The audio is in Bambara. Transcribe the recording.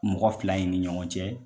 Mɔgɔ fila in ni ɲɔgɔn cɛ